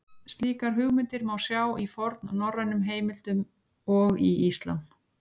Slíkar hugmyndir má sjá í fornnorrænum heimildum og í Íslam.